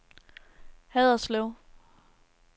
Haderslev